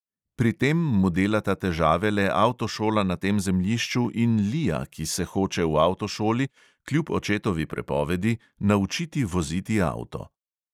Pri tem mu delata težave le avtošola na tem zemljišču in lija, ki se hoče v avtošoli kljub očetovi prepovedi naučiti voziti avto.